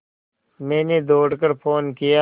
मैंने दौड़ कर फ़ोन किया